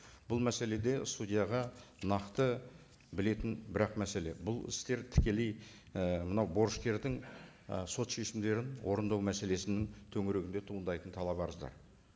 бұл мәселеде судьяға нақты білетін бір ақ мәселе бұл істер тікелей і мынау борышкердің ы сот шешімдерін орындау мәселесінің төңірегінде туындайтын талап арыздар